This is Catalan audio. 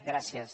gràcies